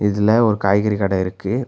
இதுல ஒரு காய்கறி கட இருக்கு.